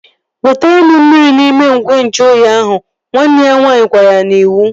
Wetere m mmiri n'igwe nju oyi ahụ! Nwanne ya nwaanyị gwara ya n'iwu